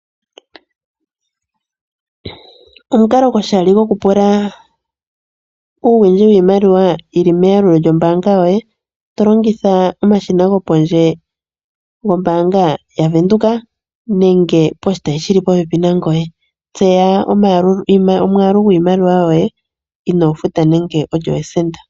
Omukalo goshali gokupula uuwindji wiimaliwa yi li meyalulo lyombaanga yoye to longitha omashina gopondje gombaanga yaVenduka nenge poshitayi shi li popepi nangoye. Tseya omwaalu gwiimaliwa yoye inoo futa nande esenda.